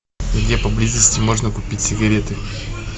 где поблизости можно купить сигареты